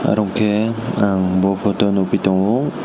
orongke ang bo photo nogphi tango.